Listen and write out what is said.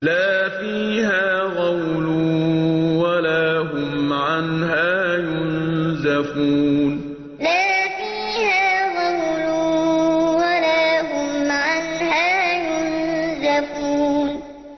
لَا فِيهَا غَوْلٌ وَلَا هُمْ عَنْهَا يُنزَفُونَ لَا فِيهَا غَوْلٌ وَلَا هُمْ عَنْهَا يُنزَفُونَ